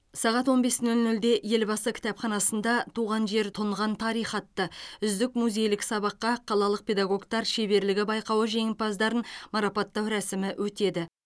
сағат он бес нөл нөлде елбасы кітапханасында туған жер тұнған тарих атты үздік музейлік сабаққа қалалық педагогтар шеберлігі байқауы жеңімпаздарын марапаттау рәсімі өтеді